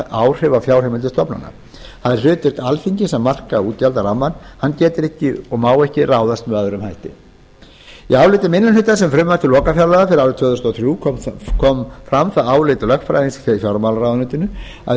áhrif á fjárheimildir stofnana það er hlutverk alþingis að marka útgjaldarammann hann getur ekki og má ekki ráðast með öðrum hætti í áliti minni hlutans um frumvarp til lokafjárlaga fyrir árið tvö þúsund og þrjú kom fram það álit lögfræðings í fjármálaráðuneytinu að í